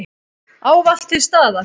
Ávallt til staðar.